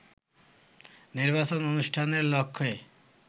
নির্বাচন অনুষ্ঠানের লক্ষ্যে